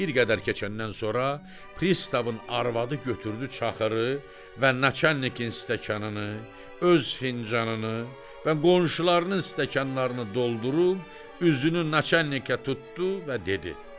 Bir qədər keçəndən sonra pristavın arvadı götürdü çaxırı və naçalnikin stəkanını, öz fincanını və qonşularının stəkanlarını doldurub üzünü naçalnikə tutdu və dedi.